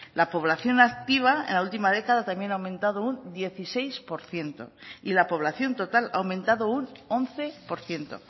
la población activa en la última década también ha aumentado un dieciséis por ciento y la población total ha aumentado un once por ciento